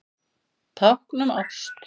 Tákn um ást